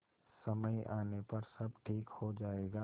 समय आने पर सब ठीक हो जाएगा